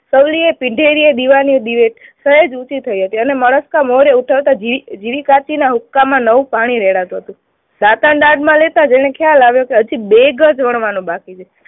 પીધેની દીવાની દિવેટ સહેજ ઉંચી થઇ હતી અને માણસના મોઢે ઉછળતા ઝીણી કાછડીના હુક્કામાં નવું પાણી રેડાતું હતું. દાંતાને દાઢ માં લેતા જ એને ખ્યાલ આવ્યો કે હજુ બે ગજ વણવાનું બાકી હતું.